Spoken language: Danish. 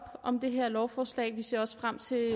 om det her lovforslag vi ser også frem til